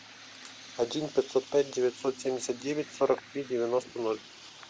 один пятьсот пять девятьсот семьдесят девять сорок три девяносто ноль